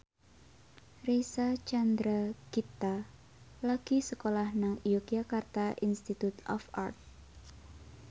Reysa Chandragitta lagi sekolah nang Yogyakarta Institute of Art